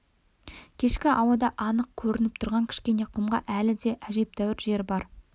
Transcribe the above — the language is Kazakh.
кешкі ауада анық көрініп тұрған кішкене құмға әлі де әжептәуір жер бар